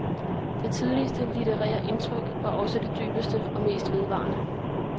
Det tidligste litterære indtryk var også det dybeste og mest vedvarende.